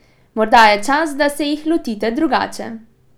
Morda je čas, da se jih lotite drugače!